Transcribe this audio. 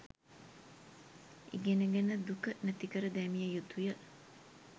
ඉගෙනගෙන දුක නැතිකර දැමිය යුතුය.